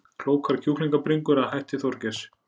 Klókar kjúklingabringur að hætti Þorgeirs